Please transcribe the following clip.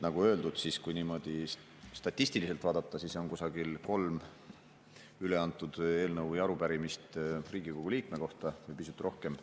Nagu öeldud, kui niimoodi statistiliselt vaadata, siis on kusagil kolm eelnõu või arupärimist üle antud Riigikogu liikme kohta või pisut rohkem.